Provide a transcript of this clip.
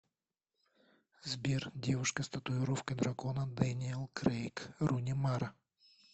сбер девушка с татуировкой дракона дэниел крейг руни мара